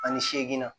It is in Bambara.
Ani seegin na